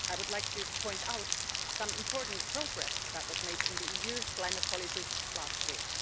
I would like to point out some important progress that was made in the EU's climate policy last week.